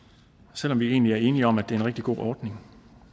selv om vi egentlig er enige om at det er en rigtig god ordning